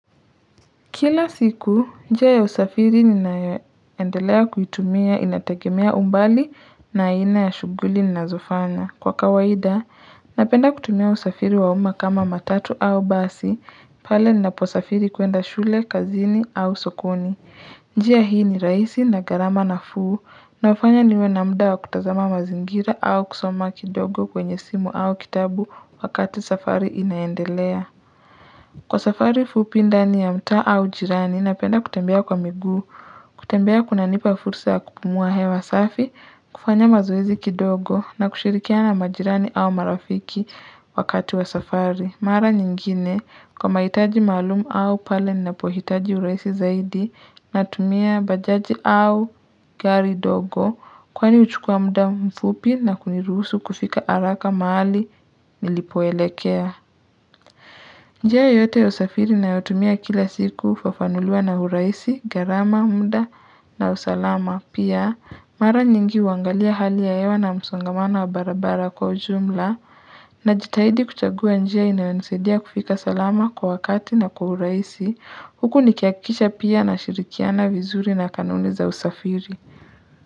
Kila siku, njia ya usafiri ninayoendelea kuitumia inategemea umbali na aina ya shughuli ninazofanya. Kwa kawaida, napenda kutumia usafiri wa umma kama matatu au basi, pale ninaposafiri kuenda shule, kazini au sokoni. Njia hii ni rahisi na gharama nafuu, na hufanya niwe na muda wa kutazama mazingira au kusoma kidogo kwenye simu au kitabu wakati safari inaendelea. Kwa safari fupi ndani ya mtaa au jirani napenda kutembea kwa miguu, kutembea kunanipa fursa ya kupumua hewa safi, kufanya mazoezi kidogo na kushirikiana na majirani au marafiki wakati wa safari. Mara nyingine kwa mahitaji maalum au pale ninapohitaji urahisi zaidi natumia bajaji au gari ndogo kwani huchukua muda mfupi na kuniruhusu kufika haraka mahali nilipoelekea. Njia yoyote ya usafiri ninayotumia kila siku hufafanuliwa na urahisi, gharama, muda na usalama. Pia, mara nyingi huangalia hali ya hewa na msongamano wa barabara kwa ujumla najitahidi kuchagua njia inayonisaidia kufika salama kwa wakati na kwa urahisi. Huku nikihakisha pia nashirikiana vizuri na kanuni za usafiri.